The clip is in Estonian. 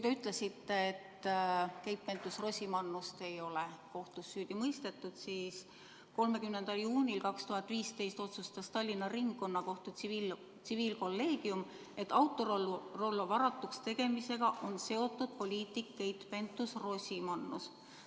Te ütlesite, et Keit Pentus-Rosimannust ei ole kohtus süüdi mõistetud, aga 30. juunil 2015 otsustas Tallinna Ringkonnakohtu tsiviilkolleegium, et Autorollo varatuks tegemisega on seotud poliitik Keit Pentus-Rosimannus.